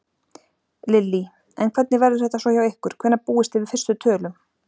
Lillý: En hvernig verður þetta svo hjá ykkur, hvenær búist þið við fyrstu tölum?